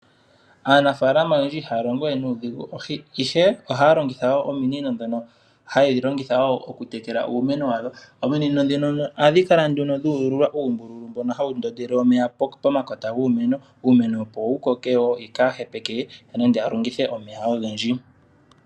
Aanafalama oyendji ihaya longo we nuudhigu, ihe ohaya longitha ominino ndhono hayedhi longitha okutekela uumeno wawo. Ominino ndhino ohadhi kala dhu ululwa uumbululu, mbono hawu ndondele omeya pomakota guumeno, uumeno opo wu koke wo, yo kaaya hepeke, nenge ya longithe omeya ogendji.